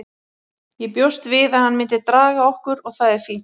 Ég bjóst við að hann myndi draga okkur og það er fínt.